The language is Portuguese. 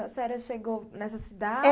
A senhora chegou nessa cidade?